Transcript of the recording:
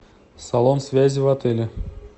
салон связи в отеле